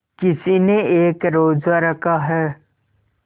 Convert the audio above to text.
किसी ने एक रोज़ा रखा है